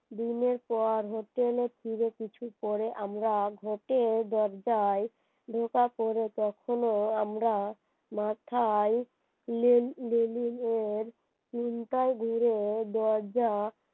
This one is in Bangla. দিনের পর hotel ফিরে কিছু পরে আমরা আঘাতে দরজায় ধোকা পরে তখনও আমরা